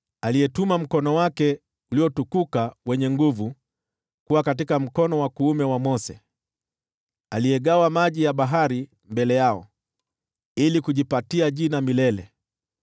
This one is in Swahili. aliyetuma mkono wake uliotukuka wenye nguvu kuwa katika mkono wa kuume wa Mose, aliyegawa maji ya bahari mbele yao, ili kujipatia jina milele,